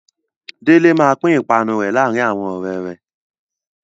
Délé máa pín ìpanu rẹ̀ láàárin àwọn ọ̀rẹ́ rẹ̀.